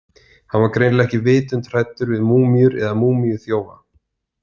Hann var greinilega ekki vitund hræddur við múmíur eða múmíuþjófa.